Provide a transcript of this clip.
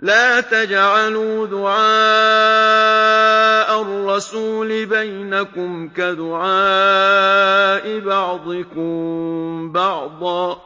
لَّا تَجْعَلُوا دُعَاءَ الرَّسُولِ بَيْنَكُمْ كَدُعَاءِ بَعْضِكُم بَعْضًا ۚ